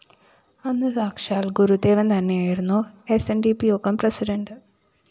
അന്ന് സാക്ഷാല്‍ ഗുരുദേവന്‍തന്നെ ആയിരുന്നു സ്‌ ന്‌ ഡി പി യോഗം പ്രസിഡന്റ്